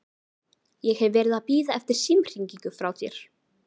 Ég hef verið að bíða eftir símhringingu frá þér.